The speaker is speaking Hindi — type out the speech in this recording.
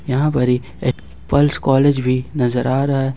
यहां पर एक पल्स कॉलेज भी नजर आ रहा है।